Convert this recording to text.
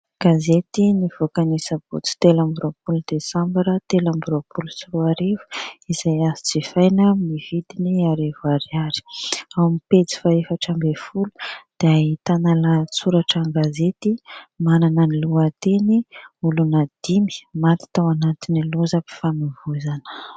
Gazety nivoaka ny sabotsy telo amby roapolo desambara telo amby roapolo sy roa arivo izay azo jifaina amin'ny vidiny arivo ariary. Ao amin'ny pejy fahaefatra ambin'ny folo dia ahitana lahatsoratra an-gazety manana ny lohateny : "olona dimy maty tao anatiny lozam-pifamoivozana".